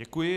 Děkuji.